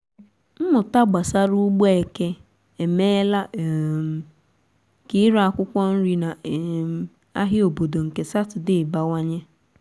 mmụta gbasara ugbo eke emeela um ka ire akwụkwọ nri na um ahịa obodo nke sátọdee bawanye.